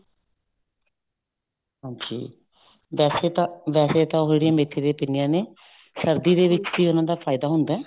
ਹਾਂਜੀ ਵੈਸੇ ਤਾਂ ਵੈਸੇ ਤਾਂ ਉਹ ਜਿਹੜੀਆਂ ਮੈਥੀ ਦੀਆਂ ਪਿੰਨੀਆਂ ਨੇ ਸਰਦੀ ਦੇ ਵਿੱਚ ਕੀ ਹੈ ਉਹਨਾ ਦਾ ਫਾਇਦਾ ਹੁੰਦਾ